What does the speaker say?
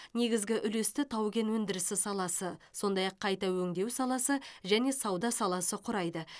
негізгі үлесті тау кен өндірісі саласы сондай ақ қайта өңдеу саласы және сауда саласы құрайды